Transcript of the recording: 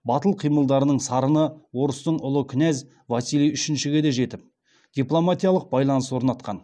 батыл қимылдарының сарыны орыстың ұлы князі василий үшіншіге де жетіп дипломатиялық байланыс орнатқан